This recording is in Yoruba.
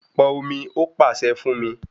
Pọn omi, ó pàṣẹ fún mí